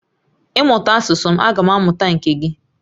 Ị mụta asusu m agam amuta nke gi